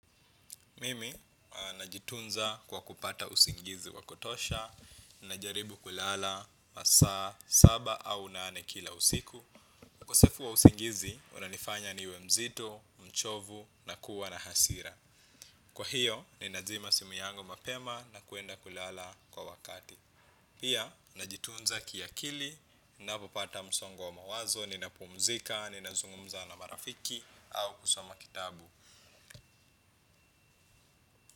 Mimi, najitunza kwa kupata usingizi wakutosha, najaribu kulala, masaa, saba au nane kila usiku. ukosefu wa usingizi, unanifanya niwe mzito, mchovu, nakuwa na hasira. Kwa hiyo, ninazima simu yangu mapema na kuenda kulala kwa wakati. Pia, najitunza kiakili, ninapopata msongo wa mawazo, ninapumzika, ninazungumza na marafiki, au kusoma kitabu.